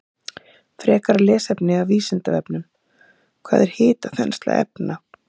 Frekara lesefni af Vísindavefnum: Hvað er hitaþensla efna?